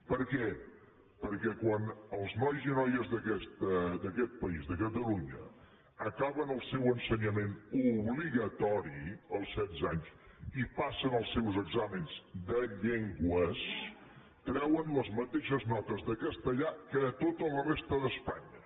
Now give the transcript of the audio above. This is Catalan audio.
per què perquè quan els nois i noies d’aquest país de catalunya acaben el seu ensenyament obligatori als setze anys i passen els seus exàmens de llengües treuen les mateixes notes de castellà que a tota la resta d’espanya